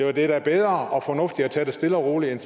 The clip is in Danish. er da bedre og fornuftigere at tage det stille og roligt end